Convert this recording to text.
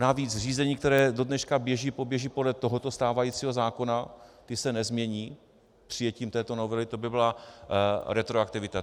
Navíc řízení, která do dneška běží, poběží podle tohoto stávajícího zákona, ta se nezmění přijetím této novely, to by byla retroaktivita.